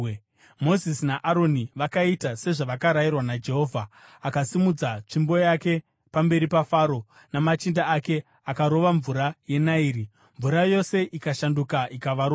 Mozisi naAroni vakaita sezvavakarayirwa naJehovha. Akasimudza tsvimbo yake pamberi paFaro namachinda ake akarova mvura yeNairi, mvura yose ikashanduka ikava ropa.